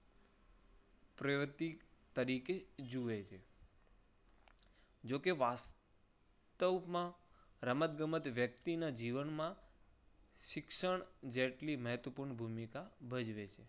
પ્રવૃત્તિ તરીકે જુએ છે. જો કે વાસ્તવમાં રમત ગમત વ્યક્તિના જીવનમાં શિક્ષણ જેટલી મહત્વપુર્ણ ભૂમિકા ભજવે છે.